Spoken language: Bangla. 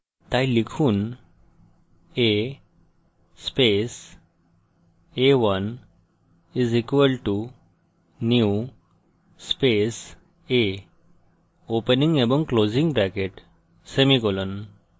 তাই লিখুন a space a1 = new space a opening এবং closing brackets semicolon